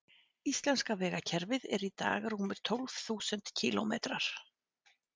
Íslenska vegakerfið er í dag rúmir tólf þúsund kílómetrar.